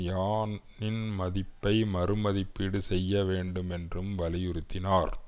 யானின் மதிப்பை மறுமதிப்பீடு செய்ய வேண்டும் என்றும் வலியுறுத்தினார்